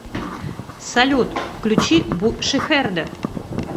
салют включи бу шихерде